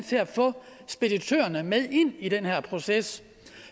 til at få speditørerne med ind i den her proces